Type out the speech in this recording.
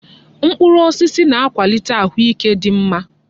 Mkpụrụ osisi na-akwalite ahụike dị mma.